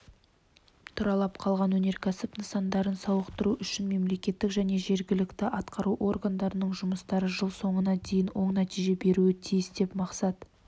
тұралап қалған өнеркәсіп нысандарын сауықтыру үшін мемлекеттік және жергілікті атқару органдарының жұмыстары жыл соңына дейін оң нәтиже беруі тиіс деп мақсат